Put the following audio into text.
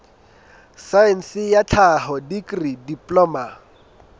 saense ya tlhaho dikri diploma